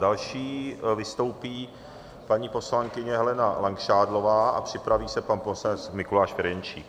Další vystoupí paní poslankyně Helena Langšádlová a připraví se pan poslanec Mikuláš Ferjenčík.